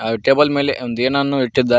ಆ ಟೇಬಲ್ ಮೇಲೆ ಒಂದು ಏನೇನು ಇಟ್ಟಿದ್ದ.